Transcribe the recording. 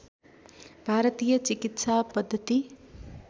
भारतीय चिकित्सा पद्दति